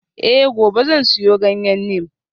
Eh gobe zan siyo ganyen neem